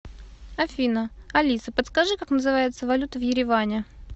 афина алиса подскажи как называется валюта в ереване